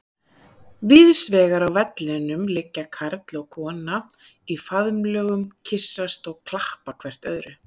Víðsvegar á vellinum liggja karl og kona í faðmlögum, kyssast og klappa hvert öðru.